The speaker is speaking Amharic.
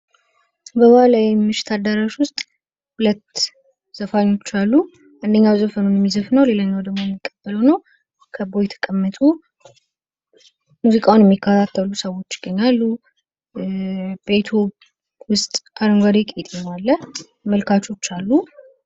በባህላዊ ምሽት አዳራሽ ዉስጥ ሁለት ዘፋኞች አሉ አንደኛው ዘፈኑን የሚዘፍን ሲሆን ሌላኛው ዘፈኑን የሚቀበለው ነው ፤ ከበዉ የተቀመጡ ሙዚቃዉን የሚከታተሉ ሰወች ይገኛሉ ፤ ቤቱ ዉስጥ አረንጓዴ ቄጤማ አለ።